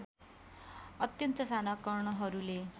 अत्यन्त साना कणहरूले